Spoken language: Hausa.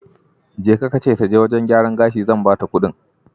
Jeka ka ce ta je wajen gyaran gashi zan bata kudin.